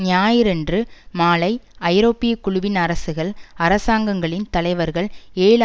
ஞாயிறன்று மாலை ஐரோப்பிய குழுவின் அரசுகள் அரசாங்கங்களின் தலைவர்கள் ஏழு